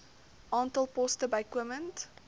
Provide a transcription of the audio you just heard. aantal poste bykomend